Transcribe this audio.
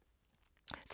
TV 2